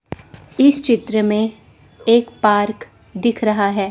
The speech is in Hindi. इस चित्र में एक पार्क दिख रहा है।